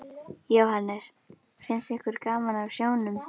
Jóhannes: Finnst ykkur gaman á sjónum?